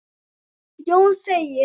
Jón segir